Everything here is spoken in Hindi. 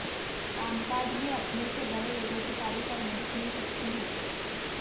कामकाज में अपने से बड़े लोगों की तारीफ और मदद मिल सकती है